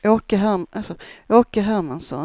Åke Hermansson